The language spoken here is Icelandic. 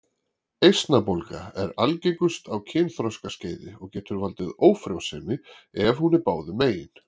Eistnabólga er algengust á kynþroskaskeiði og getur valdið ófrjósemi ef hún er báðum megin.